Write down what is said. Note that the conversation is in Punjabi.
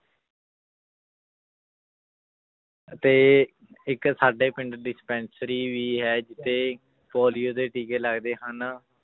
ਤੇ ਇੱਕ ਸਾਡੇ ਪਿੰਡ dispensary ਵੀ ਹੈ ਜਿੱਥੇ ਪੋਲੀਓ ਦੇ ਟੀਕੇ ਲੱਗਦੇ ਹਨ